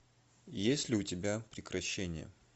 есть ли у тебя прекращение